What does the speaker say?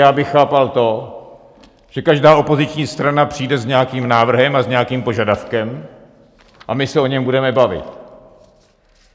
Já bych chápal to, že každá opoziční strana přijde s nějakým návrhem a s nějakým požadavkem a my se o něm budeme bavit.